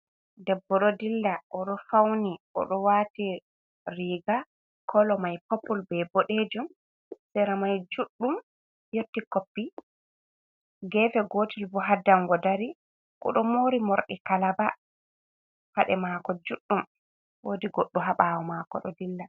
Debbo ɗo dilla o ɗo fawni, o ɗo waati riga, kolo may pooppul, be ɓoɗeejum, sera may juɗɗum yotti koppi, geefe gootel boo haa danngo dari. O ɗo moori moorɗi kalaaba, paɗe maako juuɗɗum, woodi goɗɗo haa ɓaawo maako ɗo dilla.